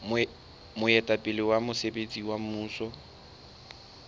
moetapele wa mosebetsi wa mmuso